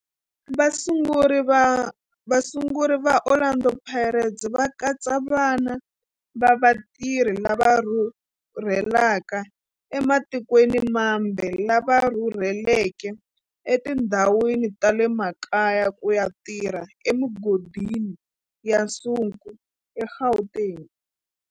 Vasunguri va Orlando Pirates va katsa vana va vatirhi lava rhurhelaka ematikweni mambe lava rhurheleke etindhawini ta le makaya ku ya tirha emigodini ya nsuku eGauteng.